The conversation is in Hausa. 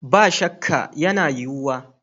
Ba shakka, yana yiwuwa